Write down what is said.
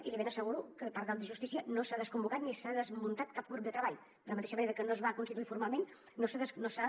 i li ben asseguro que per part de justícia no s’ha desconvocat ni s’ha desmuntat cap grup de treball de la mateixa manera que no es va constituir formalment no s’ha